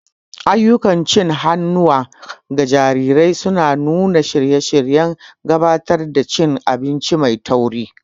Ayyukan cin hannuwa ga jarirai suna nuna shirye-shiryen gabatar da cin abinci mai tauri.